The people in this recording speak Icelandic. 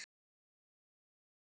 Elsku Halla.